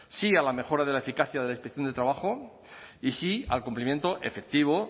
sí a la mejora de la eficacia de la inspección de trabajo y sí al cumplimiento efectivo